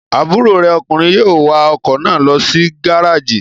Àbúrò rè ọkùnrin yóò wa ọkọ̀ náà lọ sí gárájì.